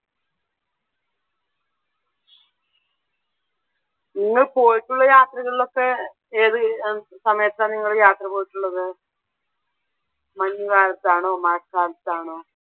നിങ്ങൾ പോയിട്ടുള്ള യാത്രകളിലൊക്കെ ഏതു സമയത്താണ് നിങ്ങൾ യാത്ര പോയിട്ടുള്ളത്? മഞ്ഞു കാലത്താണോ മഴക്കാലത്താണോ?